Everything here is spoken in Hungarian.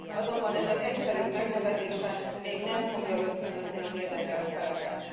Azonban ezek egyszerű megnevezése még nem fogja ösztönözni az érdekelt feleket.